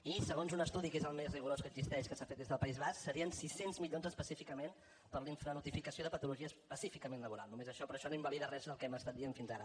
i segons un estudi que és el més rigorós que existeix que s’ha fet des del país basc serien sis cents milions específicament per a la infranotificació de patologies específicament laborals només això però això no invalida res del que hem estat dient fins ara